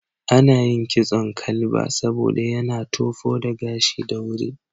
Ana yin kitson Kalba saboda yana tofo da gashi da wuri.